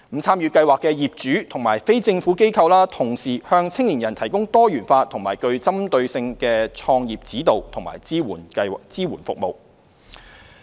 參與計劃的業主和非政府機構均同時向青年人提供多元化和具針對性的創業指導及支援服務。